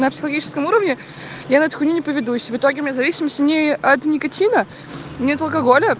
психологическом уровне я на эту хуйню не поведусь в итоге мы зависимости от никотина не от алкоголя